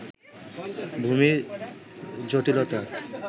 ভূমি জটিলতা